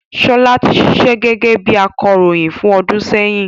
Ṣọlá ti ṣíṣe gẹ́gẹ́ bí akọròyìn fún ọdún sẹ́yìn